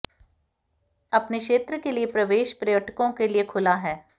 अपने क्षेत्र के लिए प्रवेश पर्यटकों के लिए खुला है